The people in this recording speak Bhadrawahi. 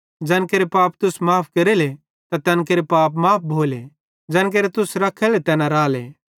ज़ैन केरे पाप तुस माफ़ केरेले त तैन केरे पाप माफ़ भोले ज़ैन केरे तुस रखेले तैना राले